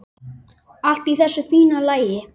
Allt í þessu fína lagi.